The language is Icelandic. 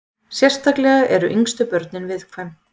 Sérstaklega eru yngstu börnin viðkvæm.